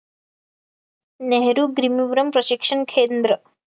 नेहरू गीरीवरम प्रशिक्षण खेंद्र